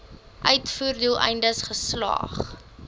uitvoer doeleindes geslag